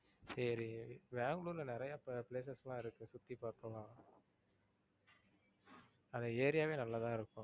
சரி. பெங்களூர்ல நிறைய places லாம் இருக்கு சுத்தி பாக்கலாம் அந்த area வே நல்லாதான் இருக்கும்.